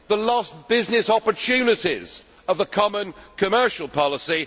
the lost business opportunities of a common commercial policy